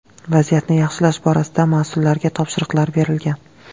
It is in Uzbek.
Vaziyatni yaxshilash borasida mas’ullarga topshiriqlar berilgan.